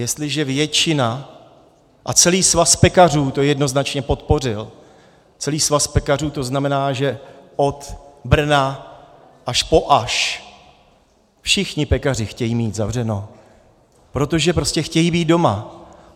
Jestliže většina - a celý svaz pekařů to jednoznačně podpořil, celý svaz pekařů, to znamená, že od Brna až po Aš, všichni pekaři chtějí mít zavřeno, protože prostě chtějí být doma.